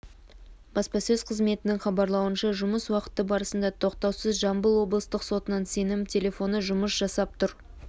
баспасөз қызметінің хабарлауынша жұмыс уақыты барысында тоқтаусыз жамбыл облыстық сотының сенім телефоны жұмыс жасап тұр